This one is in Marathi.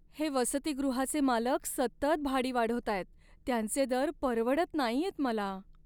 हे वसतिगृहाचे मालक सतत भाडी वाढवतायत, त्यांचे दर परवडत नाहीयेत मला.